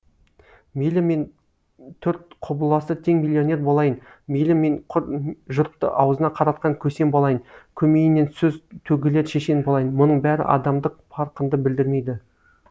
мейлі мен төрт құбыласы тең миллионер болайын мейлі мен жұртты аузына қаратқан көсем болайын көмейінен сөз төгілер шешен болайын мұның бәрі адамдық парқыңды білдірмейді